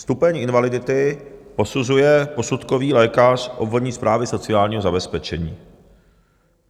Stupeň invalidity posuzuje posudkový lékař obvodní správy sociálního zabezpečení.